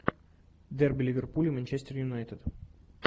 дерби ливерпуль и манчестер юнайтед